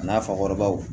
A n'a fakɔrɔbaw